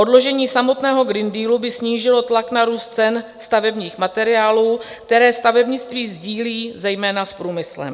Odložení samotného Green Dealu by snížilo tlak na růst cen stavebních materiálů, které stavebnictví sdílí zejména s průmyslem.